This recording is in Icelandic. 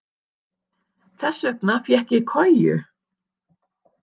Þess vegna fékk ég koju.